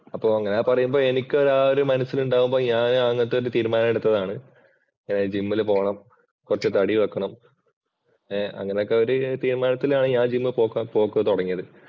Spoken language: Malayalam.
അപ്പോ അങ്ങനെ പറയുമ്പോൾ എനിക്ക് ആ ഒരു മനസ്സിലുണ്ടാവുമ്പോ ഞാന് അങ്ങനത്തെ ഒരു തീരുമാനമെടുത്തതാണ്. ജിമ്മില് പോണം കുറച്ച് തടി വെക്കണം. ഏർ അങ്ങനത്തെ ഒരു തീരുമാനത്തിലാണ് ഞാൻ ജിമ്മില്‍ പോക്ക് തുടങ്ങിയത്.